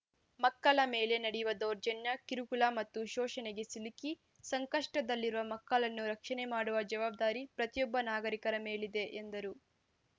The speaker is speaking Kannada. ಮಕ್ಕಳ ಮೇಲೆ ನಡೆಯುವ ದೌರ್ಜನ್ಯ ಕಿರುಕುಳ ಮತ್ತು ಶೋಷಣೆಗೆ ಸಿಲುಕಿ ಸಂಕಷ್ಟದಲ್ಲಿರುವ ಮಕ್ಕಳನ್ನು ರಕ್ಷಣೆ ಮಾಡುವ ಜವಾಬ್ದಾರಿ ಪ್ರತಿಯೊಬ್ಬ ನಾಗರಿಕರ ಮೇಲಿದೆ ಎಂದರು